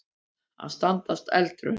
Að standast eldraun